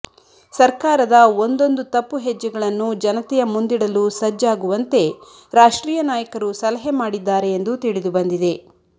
ಸರ್ಕಾರದ ಒಂದೊಂದು ತಪ್ಪು ಹೆಜ್ಜೆಗಳನ್ನು ಜನತೆಯ ಮುಂದಿಡಲು ಸಜ್ಜಾಗುವಂತೆ ರಾಷ್ಟ್ರೀಯ ನಾಯಕರು ಸಲಹೆ ಮಾಡಿದ್ದಾರೆ ಎಂದು ತಿಳಿದುಬಂದಿದೆ